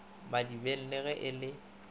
madibeng le ge e le